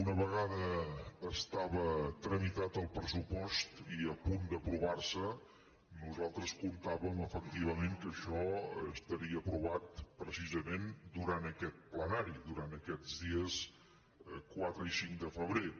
una vegada estava tramitat el pressupost i a punt d’aprovar se nosaltres comptàvem efectivament que això estaria aprovat precisament durant aquest plenari durant aquests dies quatre i cinc de febrer